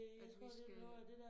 At vi skal